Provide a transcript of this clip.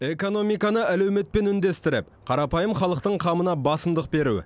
экономиканы әлеуметпен үндестіріп қарапайым халықтың қамына басымдық беру